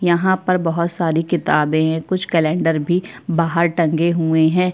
यहाँ पर बहुत सारी किताबें हैं कुछ कैलेंडर भी बाहर टंगे हुए हैं।